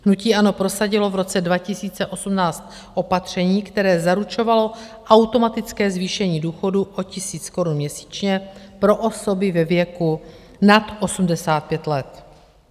Hnutí ANO prosadilo v roce 2018 opatření, které zaručovalo automatické zvýšení důchodu o 1000 korun měsíčně pro osoby ve věku nad 85 let.